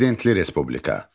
Prezidentli respublika.